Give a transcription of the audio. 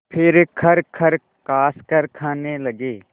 फिर खरखर खाँसकर खाने लगे